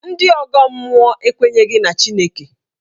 Ndị ọgọ mmụọ ekwenyeghi na Chineke.